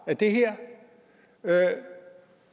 af det her